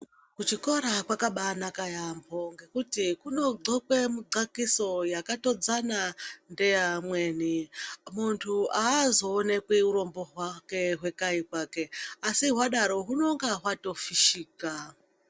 Kuchikora kwakabanaka yamho ngekuti kunodxokwa mudxokiso yakatodzana neyaamweni muntu azoonekwi urombo hwake hwekwayi kwake asi hwadaro hwunenge hwatofishika .